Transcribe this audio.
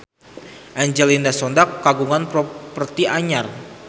Angelina Sondakh kagungan properti anyar